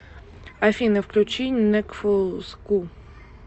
афина включи некфу ску